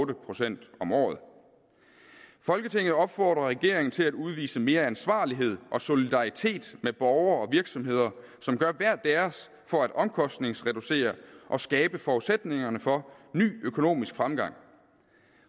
procent om året folketinget opfordrer regeringen til at udvise mere ansvarlighed og solidaritet med borgere og virksomheder som gør hver deres for at omkostningsreducere og skabe forudsætningerne for ny økonomisk fremgang